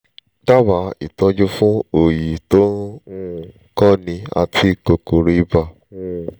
dábàá ìtọ́jú fún òòyì tó ń um kọ́ni àti kòkòrò ibà um